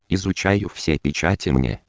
изучаю все печати